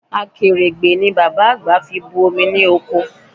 Akèrègbè ni bàbá àgbà fi bu omi loko